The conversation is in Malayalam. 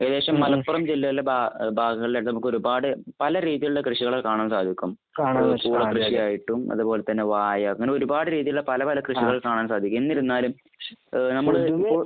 ഏകദേശം മലപ്പുറം ജില്ലയിലെ ഭാഗങ്ങളിലായിട്ട് നമുക്ക് ഒരുപാട് പല രീതികളിലുള്ള കൃഷികൾ കാണാൻ സാധിക്കും. ആയിട്ടും അതുപോലെ തന്നെ വാഴ. അങ്ങനെ ഒരുപാട് രീതിയിലുള്ള പല പല കൃഷികൽ കാണാൻ സാധിക്കും. എന്നിരുന്നാലും ഏഹ് നമ്മൾ ഇപ്പോൾ